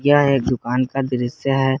यह एक दुकान का दृश्य है।